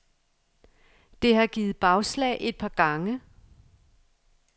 Det har givet bagslag et par gange.